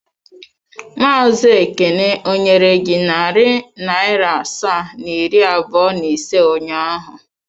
Maazị Ekene ọ nyere gị narị naira asaa na iri abụọ na ise ụnyaahụ?